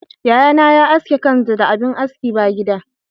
Yayana ya aske kansu da abin aski ba gida.